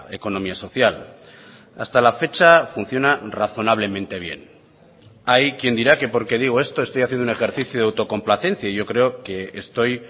economía social hasta la fecha funciona razonablemente bien hay quien dirá que por que digo esto estoy haciendo un ejercicio de autocomplacencia yo creo que estoy